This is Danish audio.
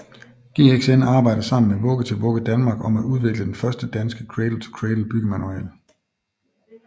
GXN arbejder sammen med Vugge til Vugge Danmark om at udvikle den første danske Cradle to Cradle byggemanual